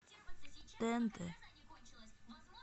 тнт